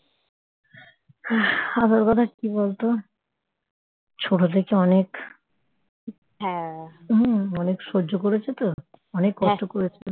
আমার কথা কি বলতো ছোট থেকে অনেক হম অনেক সহ্য করছি তো অনেক কষ্ট করেছে